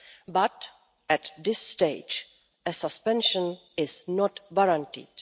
But, at this stage, a suspension is not warranted.